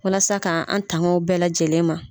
Walasa kaa an taŋ'o bɛɛ lajɛlen ma.